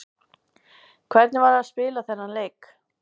Hvernig var að spila þennan leik?